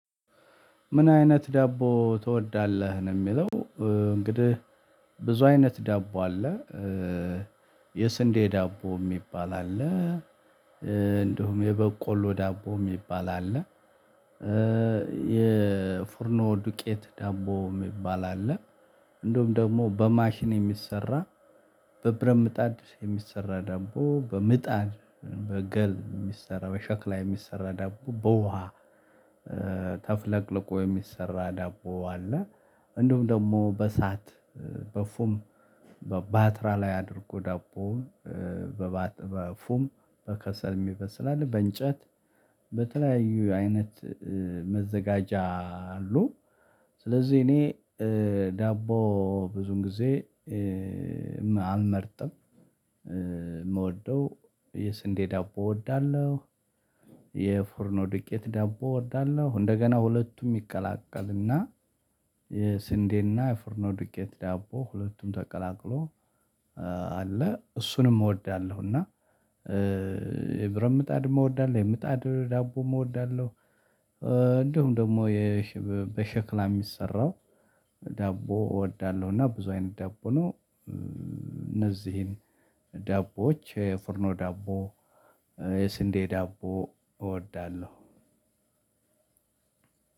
ምን አይነት ዳቦ ትወዳለህ ነው? የሚለው እንግዲህ ብዙ አይነት ዳቦ አለ። የስንዴ ዳቦ የሚባል አለ። እንዲሁም የበቆሎ ዳቦ የሚባል አለ። የፉርኖ ዱቄት ዳቦ የሚባል አለ። እንዲሁም ደግሞ በማሽን የሚሰራ በብረምጣድ የሚሰራ ደግሞ በምጣድ በገል የሚሰራው የሸክላ የሚሰራ ዳቦ በውሃ ተፍለቅልቆ የሚሰራ ዳቦ አለ። እንደውም ደግሞ በእሳት በፉም በባትራ ላይ አድርጎ ዳቦ በፉም በከሰልም ይበስላል በእንጨት በተለያዩ አይነት መዘጋጃ አሉ። ስለዚህ እኔ ዳቦ ብዙን ጊዜ አልመርጥም። የምወደው የስንዴ ዳቦ እወዳለሁ። የፎርኖ ድቄት ዳቦ እወዳለሁ። እንደገና ሁለቱም ይቀላቀልና የስንዴና የፍርኖ ድቄት ዳቦ ሁለቱም ተቀላቅሎ አለ እሱንም እወዳለሁ። እና የብረምጣድ እወዳለሁ የምጣድ ዳቦ እወዳለሁ። እንዲሁም ደግሞ በሽክላ የሚሰራው ዳቦ እወዳለሁ። እና ብዙ አይነት ዳቦ ነው። እነዚህን ዳቦዎች የፍርኖ ዳቦ ስንዴ ዳቦ እወዳለሁ።